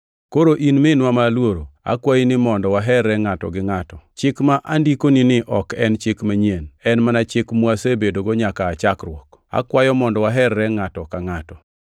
Koro, in minwa ma aluoro, akwayi ni mondo waherre ngʼato gi ngʼato; Chik ma andikonini ok en chik manyien; en mana chik mwasebedogo nyaka aa chakruok. Akwayo mondo waherre ngʼato ka ngʼato.